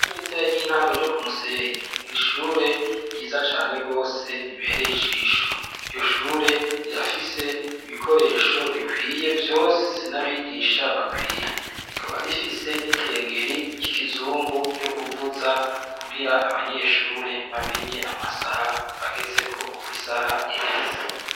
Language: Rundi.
Iwo ritare ry'intango ryo ku musenyi ni ishure ryiza cane rwose ribereye ijisho iryo shure rirafise ibikoresho bikwiye vyose sinabigisha bakwiye rikaba rifise n'ikengeri ry'ikizungu ryo kuvuza kugira abanyeshure bamenye amasaha bagezeko ukwie saha iheza.